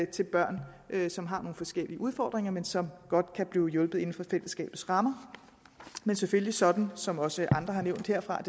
til børn som har nogle forskellige udfordringer men som godt kan blive hjulpet inden for fællesskabets rammer men selvfølgelig sådan som også andre har nævnt herfra